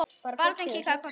Bara fimmtíu þúsund.